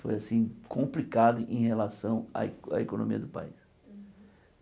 Foi assim complicado em relação à e à economia do país.